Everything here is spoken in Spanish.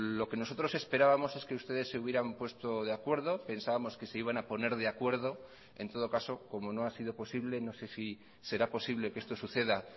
lo que nosotros esperábamos es que ustedes se hubieran puesto de acuerdo pensábamos que se iban a poner de acuerdo en todo caso como no ha sido posible no sé si será posible que esto suceda